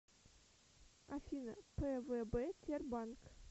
афина пвб тербанк